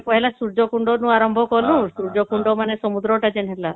ଆମେ ପହିଲା ସୂର୍ଯ୍ୟ କୁଣ୍ଡ ରୁ ଆରମ୍ଭ କଲୁ ସୂର୍ଯ୍ୟ କୁଣ୍ଡ ମାନେ ସମୁଦ୍ର ଟା ଯେନ ହେଲା